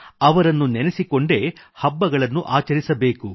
ಅವರನ್ನು ನೆನೆಸಿಕೊಂಡೇ ಹಬ್ಬಗಳನ್ನು ಆಚರಿಸಬೇಕು